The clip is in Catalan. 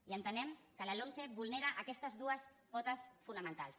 i entenem que la lomce vulnera aquestes dues potes fonamentals